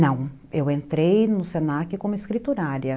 Não, eu entrei no senaque como escriturária.